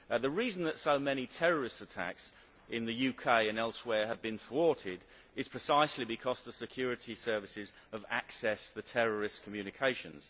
The reason that so many terrorist attacks in the UK and elsewhere have been thwarted is precisely because the security services have accessed the terrorist communications.